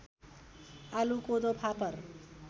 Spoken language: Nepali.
आलु कोदो फापर